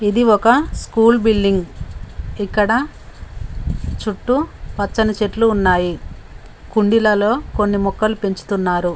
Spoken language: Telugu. ఇది ఒక స్కూల్ బిల్డింగ్ ఇక్కడ చుట్టూ పచ్చని చెట్లు ఉన్నాయి కుండీలలో కొన్ని మొక్కలు పెంచుతున్నారు.